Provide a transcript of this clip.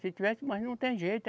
Se tivesse, mas não tem jeito.